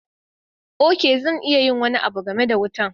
Ok, zan yi wani abu game da wutan.